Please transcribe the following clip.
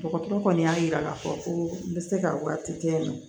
Dɔgɔtɔrɔ kɔni y'a yira k'a fɔ ko n bɛ se ka waati kɛ yen nɔ